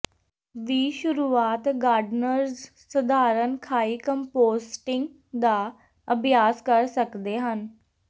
ਵੀ ਸ਼ੁਰੂਆਤ ਗਾਰਡਨਰਜ਼ ਸਧਾਰਨ ਖਾਈ ਕੰਪੋਸਟਿੰਗ ਦਾ ਅਭਿਆਸ ਕਰ ਸਕਦੇ ਹਨ